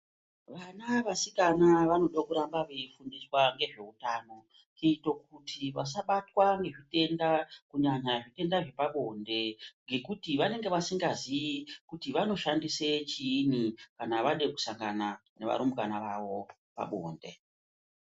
Vana vasikana vanode kuramba veifundiswa ngezveutano, kuite kuti vasabatwa nezvitenda kunyanya zvitenda zvepabonde, ngekuti vanenge vasingazii kuti vanoshandise chiini, kana vade kusangana nevarumbwana vavo pabonde.